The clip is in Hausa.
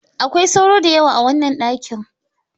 Akwai sauro da yawa a wannan dakin.